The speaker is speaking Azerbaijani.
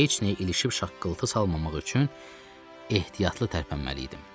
Heç nəyə ilişib şaqqıltı salmamaq üçün ehtiyatlı tərpənməli idim.